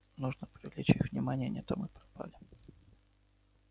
нужно привлечь их внимание не то мы пропали